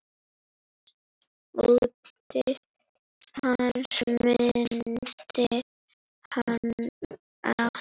Ótti hans minnti hana á